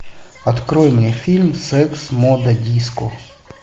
открой мне фильм секс мода диско